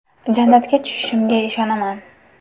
Jannatga tushishimga ishonaman.